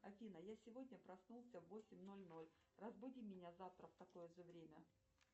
афина я сегодня проснулся в восемь ноль ноль разбуди меня завтра в такое же время